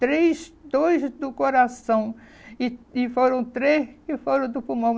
Três, dois do coração e e foram três que foram do pulmão.